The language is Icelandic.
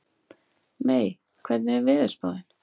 Mey, hvernig er veðurspáin?